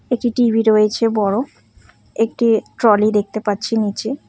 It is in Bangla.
একটি টি_ভি রয়েছে বড় একটি ট্রলি দেখতে পাচ্ছি নীচে।